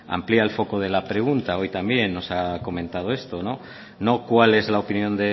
amplía el foco de la pregunta hoy también nos ha comentado esto no cuál es la opinión